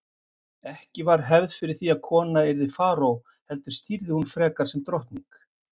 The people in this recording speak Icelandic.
Ekki var hefð fyrir því að kona yrði faraó heldur stýrði hún frekar sem drottning.